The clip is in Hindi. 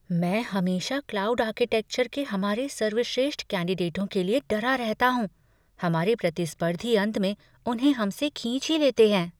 मैं हमेशा क्लाउड आर्किटेक्चर के हमारे सर्वश्रेष्ठ कैंडिडेटों के लिए डरा रहता हूँ। हमारे प्रतिस्पर्धी अंत में उन्हें हम से खींच ही लेते हैं।